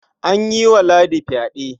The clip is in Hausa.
An yi wa Ladi fyaɗe.